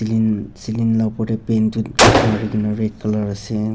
lin celing la opor tey paint tu marikena red colour ase.